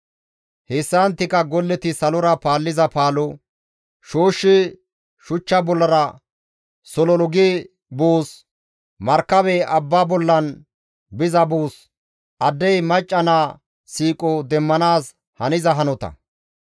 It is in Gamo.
Hessanttika golleti salora paalliza paalo, shooshshi shuchcha bollara sololu gi buus, markabey abbaa bollara biza buus addey macca naa siiqo demmanaas haniza hanota.